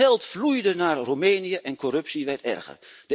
Het geld vloeide naar Roemenië en de corruptie werd erger.